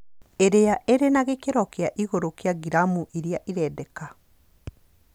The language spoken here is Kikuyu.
Iria irĩ gĩkĩro kĩa igũrũ kĩa gramu iria irendeka